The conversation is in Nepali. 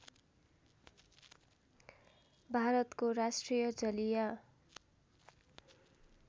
भारतको राष्ट्रिय जलीय